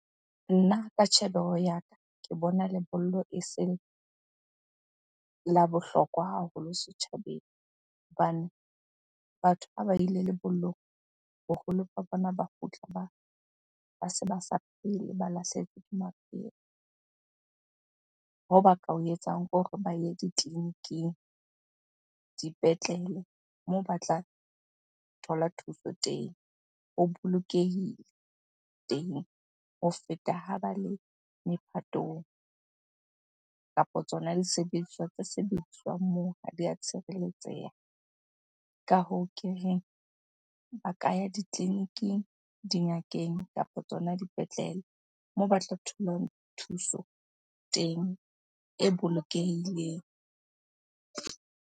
Nna ka tjhebeho ya ka, ke bona lebollo e se la bohlokwa haholo setjhabeng. Hobane batho ha ba ile lebollong, boholo ba bona ba kgutla ba se ba sa phele, ba lahlehetswe ke maphelo. Hoo ba ka o etsang ke hore ba ye ditleliniking, dipetlele moo ba tla thola thuso teng. Ho bolokehile teng ho feta ha ba le mephatong kapa tsona disebediswa tse sebediswang moo ha di a tshireletseha. Ka hoo ke reng, ba ka ya ditleliniking, dingakeng kapa tsona dipetlele moo ba tla tholang thuso teng e bolokehileng.